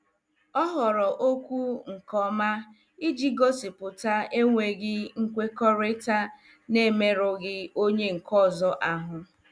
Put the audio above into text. Ọ họọrọ okwu nke ọma iji gosipụta enweghị nkwekọrịta na-emerụghị onye nke ọzọ ahụ.